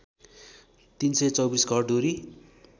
३२४ घरधुरी